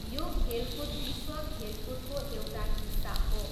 यो खेलकुद विश्व खेलकुदको एउटा हिस्सा हो।